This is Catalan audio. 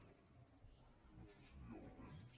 no sé si hi ha el temps